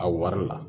A wari la